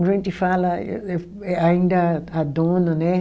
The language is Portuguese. A gente fala, eu eh ainda a dona, né?